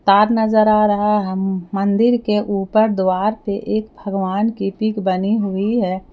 तार नजर आ रहा है मंदिर के ऊपर द्वार पे एक भगवान की पिक बनी हुई है।